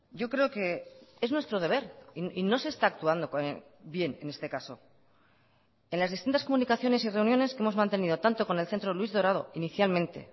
yo creo que es nuestro deber y no se está actuando bien en este caso en las distintas comunicaciones y reuniones que hemos mantenido tanto con el centro luis dorado inicialmente